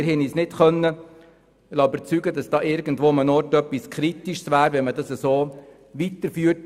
Wir haben uns nicht davon überzeugen lassen, dass hier irgendwo etwas Kritisches daran wäre, wenn man dies so weiterführt.